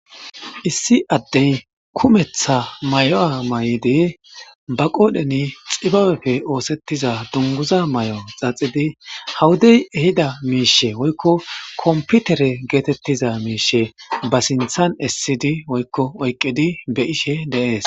issi addey kumetha may7o7a may7idi ba qoodheni xibaweppe oosettiza dunguza may7o xaxidi hawudey ehida miishe woykko komputere geetettiza miishe ba sinthan essidi woykko oyqqidi be ishe deees